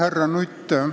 Härra Nutt!